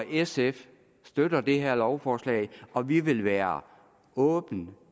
sf støtter det her lovforslag og vi vil være åbne